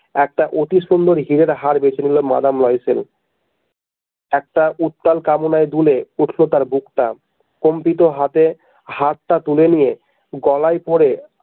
একটা অতিসুন্দর হীরের হার বেঁছে নিলো মাদাম লয়সেল একটা উত্তাল কামনায় দুলে উঠল তার বুকটা কম্পিত হাতে হারটা তুলে নিয়ে গলায় পড়ে।